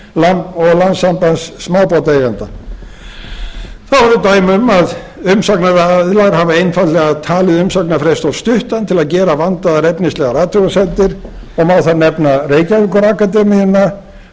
og landssambands smábátaeigenda þá eru dæmi þess að umsagnaraðilar hafa einfaldlega talið umsagnarfrest of stuttan til að gera vandaðar efnislegar athugasemdir og má þar nefna reykjavíkurakademíuna ágúst þór árnason